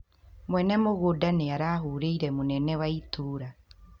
Muene mungunda niarahũrĩre munene wa ĩtora